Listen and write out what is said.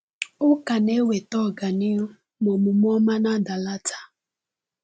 “Ụka na-enweta ọganihu, ma omume ọma na-adalata.”